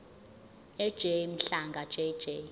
ej mhlanga jj